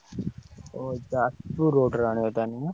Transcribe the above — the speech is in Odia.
ଓ ଯାଜପୁର road ରୁ ଆଣିବ ତାହେଲେ ନା।